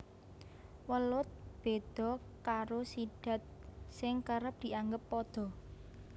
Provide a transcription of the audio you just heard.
Welut béda karo sidat sing kerep dianggep padha